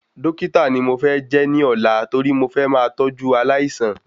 Dọ́kítà ni mo fẹ́ jẹ́ ní òla torí mo fẹ máa tọjú aláìsàn